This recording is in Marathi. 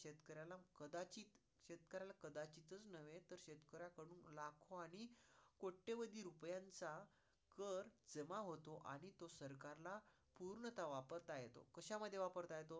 कोट्यावदी रुपयांचा कर जमा होतो आणि तो सरकार ला तोच पूर्णतः वापरता येतो. कशामध्ये वापरता येतो?